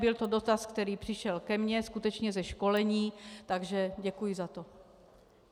Byl to dotaz, který přišel ke mně skutečně ze školení, takže děkuji za to.